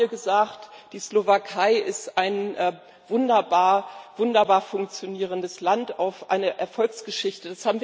Alle haben hier gesagt Die Slowakei ist ein wunderbar funktionierendes Land auf einer Erfolgsgeschichte.